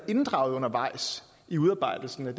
inddraget undervejs i udarbejdelsen af